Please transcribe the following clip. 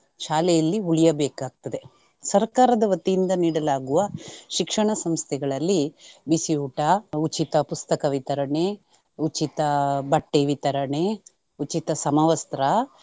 ಶಾಲೆಯಲ್ಲಿ ಉಳಿಯಬೇಕಾಗ್ತದೆ, ಸರ್ಕಾರದ ವತಿಯಿಂದ ನೀಡಲಾಗುವ ಶಿಕ್ಷಣ ಸಂಸ್ಥೆಗಳಲ್ಲಿ ಬಿಸಿಊಟ, ಉಚಿತ ಪುಸ್ತಕ ವಿತರಣೆ, ಉಚಿತ ಬಟ್ಟೆ ವಿತರಣೆ, ಉಚಿತ ಸಮವಸ್ತ್ರ.